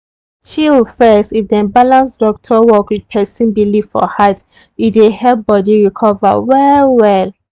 chill first if dem balance doctor work with person belief for heart e dey help body recover well well.